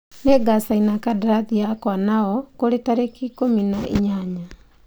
Nĩ ngacaina kandarathi yakwa nao kũrĩ tarĩki ikũmi na inyanya.